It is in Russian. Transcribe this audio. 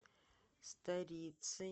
старицей